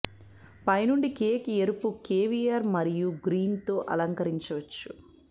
పై నుండి కేక్ ఎరుపు కేవియర్ మరియు గ్రీన్స్ తో అలంకరించవచ్చు